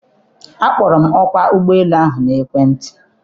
Akpọrọ m ọkwa ụgbọ elu ahụ n'ekwentị.